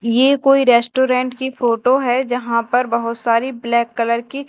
ये कोई रेस्टोरेंट की फोटो है जहां पर बहोत सारी ब्लैक कलर की--